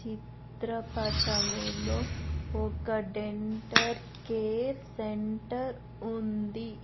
చిత్రపటములో ఒక dental care centre ఉంది.